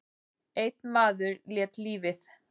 Einn maður lét lífið.